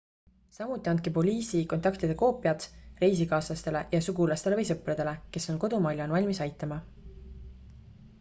samuti andke poliisi/kontaktide koopiad reisikaaslastele ja sugulastele või sõpradele kes on kodumaal ja on valmis aitama